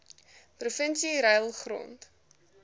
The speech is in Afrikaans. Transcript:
provinsie ruil grond